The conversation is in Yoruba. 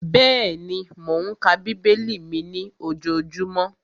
Bẹ́ẹ̀ni, mò ń ka bíbélì mi ní ojojúmọ́